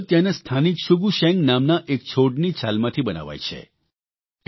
આ કાગળ ત્યાંના સ્થાનિક શુગુ શેંગ નામના એક છોડની છાલમાંથી બનાવાય છે